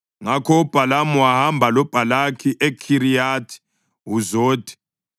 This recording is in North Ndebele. Ngakho uBhalamu wahamba loBhalaki eKhiriyathi-Huzothi.